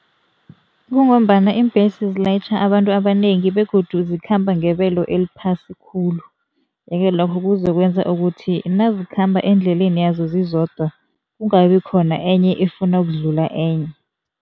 Kungombana iimbesi zilayitjha abantu abanengi begodu zikhamba ngebelo eliphasi khulu yeke, lokho kuzokwenza ukuthi nazikhamba endleleni yazo zizodwa, kungabikhona enye efuna ukudlula enye.